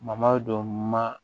don ma